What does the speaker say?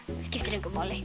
skiptir engu máli